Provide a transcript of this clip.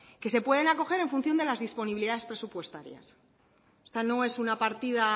que se pueden acoger en función de las disponibilidades presupuestarias esta no es una partida